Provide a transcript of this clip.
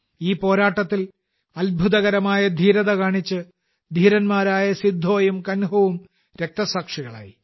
ഈ പോരാട്ടത്തിൽ അത്ഭുതകരമായ ധീരത കാണിച്ച് ധീരന്മാരായ സിദ്ധോയും കാൻഹുവും രക്തസാക്ഷികളായി